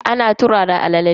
Ana turara alala ne.